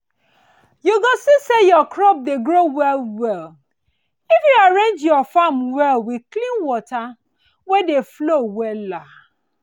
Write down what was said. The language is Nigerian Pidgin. you go see say your crops go dey grow well well if you arrange your farm well with clean water wey dey flow wella